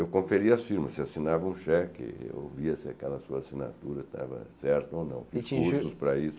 Eu conferia as firmas, assinava um cheque, ouvia se aquela sua assinatura estava certa ou não, fiz cursos para isso.